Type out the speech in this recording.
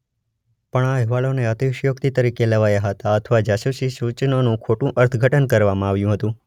પણ આ અહેવાલોને અતિશયોક્તિ તરીકે લેવાયા હતા અથવા જાસૂસી સૂચનોનું ખોટું અર્થઘટન કરવામાં આવ્યું હતું.